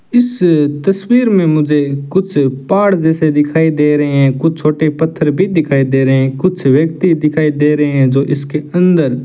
इस तस्वीर में मुझे कुछ पहाड़ जैसे दिखाई दे रहे हैं कुछ छोटे पत्थर भी दिखाई दे रहे हैं कुछ व्यक्ति दिखाई दे रहे हैं जो इसके अंदर --